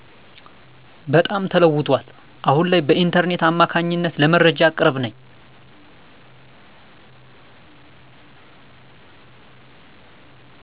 በጣም ተለውጧል አሁን ላይ በኢንተርኔት አማካኝነት ለመረጃ ቅርብ ነኝ።